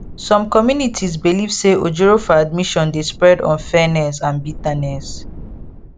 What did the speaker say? some communities believe say ojoro for admission dey spread unfairness and bitterness